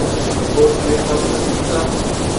Od kod njej ta pravica?